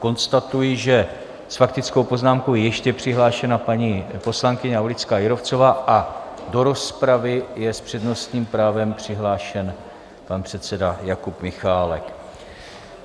Konstatuji, že s faktickou poznámkou je ještě přihlášena paní poslankyně Aulická Jírovcová a do rozpravy je s přednostním právem přihlášen pan předseda Jakub Michálek.